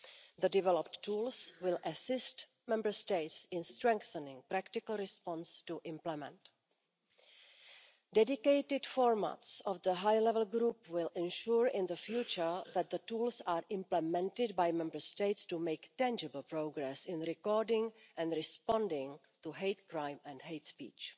The developed tools will assist Member States in strengthening a practical response to implement. Dedicated formats of the high level group will ensure in the future that the tools are implemented by Member States to make tangible progress in recording and responding to hate crime and hate speech.